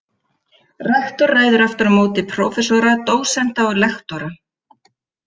Rektor ræður aftur á móti prófessora, dósenta og lektora.